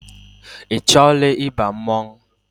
Ị chọọla ịba mmọnwụ?